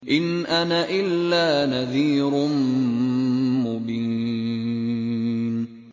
إِنْ أَنَا إِلَّا نَذِيرٌ مُّبِينٌ